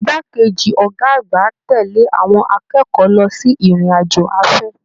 Igbá keji ọgá àgbà tẹle àwọn akẹ́kọ̀ọ́ lọ sí ìrìn àjò afẹ.